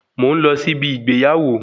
Mò ń lọ sí ibi ìgbéyàwó